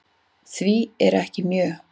Því er mjög